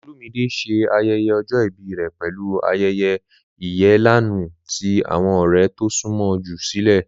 Olumide ṣe ayẹyẹ ọjọ ibi rẹ pẹlu ayẹyẹ iyalẹnu ti awọn ọrẹ to sunmọ ju silẹ.